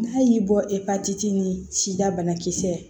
N'a y'i bɔ e ni sida banakisɛ